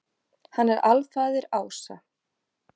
Hann er alfaðir ása.